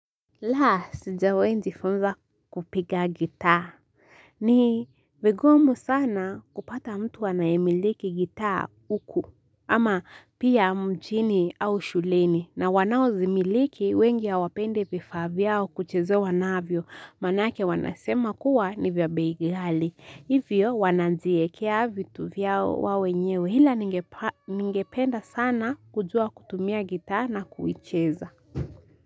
Laa sijawahi jifunza kupiga gitaa. Ni vigumu sana kupata mtu anayemiliki gitaa huku. Ama pia mjini au shuleni na wanaozimiliki wengi hawapendi vifaa vyao kuchezewa navyo maanake wanasema kuwa ni vya bei ghali. Hivyo wanaziekea vitu vyao wao wenyewe hila ningependa sana kujua kutumia gitaa na kuicheza.